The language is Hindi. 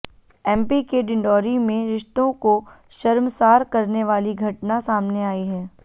एमपी के डिंडौरी में रिश्तों को शर्मसार करने वाली घटना सामने आई है